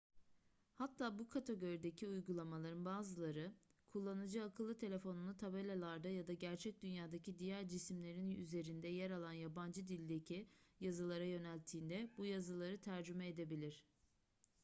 hatta bu kategorideki uygulamaların bazıları kullanıcı akıllı telefonunu tabelalarda ya da gerçek dünyadaki diğer cisimlerin üzerinde yer alan yabancı dildeki yazılara yönelttiğinde bu yazıları tercüme edebilir